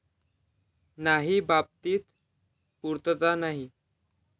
नाही बाबतीत पुर्तता नाही.